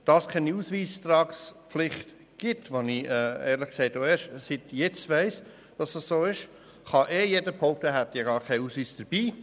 Da es keine Ausweistragpflicht gibt – was ich ehrlich gesagt auch erst seit heute weiss –, kann ohnehin jeder behaupten, er habe gar keinen Ausweis dabei.